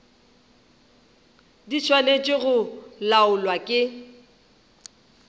di swanetše go laolwa ke